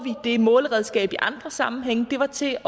det måleredskab i andre sammenhænge det var til